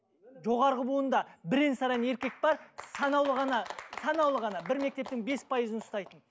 жоғарғы буында бірең саран еркек бар санаулы ғана санаулы ғана бір мектептің бес пайызын ұстайтын